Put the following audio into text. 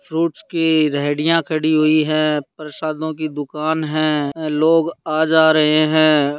Fruits की रेडिया खड़ी हुई है प्रसादों की दुकान है लोग आ जा रहे है।